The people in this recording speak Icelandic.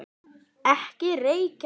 Ekki reykja!